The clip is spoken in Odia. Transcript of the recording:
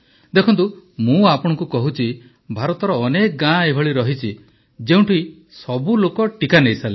ଦେଖନ୍ତୁ ମୁଁ ଆପଣଙ୍କୁ କହୁଛି ଭାରତର ଅନେକ ଗାଁ ଏଭଳି ରହିଛି ଯେଉଁଠି ସବୁ ଲୋକ ଟିକା ନେଇସାରିଲେଣି